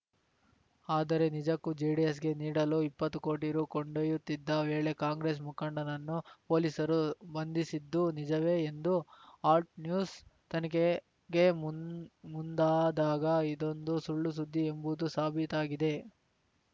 ಆದರೆ ನಿಜಕ್ಕೂ ಜೆಡಿಎಸ್‌ಗೆ ನೀಡಲು ಇಪ್ಪತ್ತು ಕೋಟಿ ರು ಕೊಂಡೊಯ್ಯತ್ತಿದ್ದ ವೇಳೆ ಕಾಂಗ್ರೆಸ್‌ ಮುಖಂಡನನ್ನು ಪೊಲೀಸರು ಬಂಧಿಸಿದ್ದು ನಿಜವೇ ಎಂದು ಆಲ್ಟ್‌ ನ್ಯೂಸ್‌ ತನಿಖೆಗೆ ಮು ಮುಂದಾದಾಗ ಇದೊಂದು ಸುಳ್ಳು ಸುದ್ದಿ ಎಂಬುದು ಸಾಬೀತಾಗಿದೆ